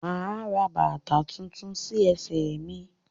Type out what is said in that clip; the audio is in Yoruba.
Máa ra bàtà tuntun sí ẹsẹ mí